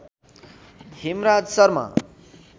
Hemraj Sharma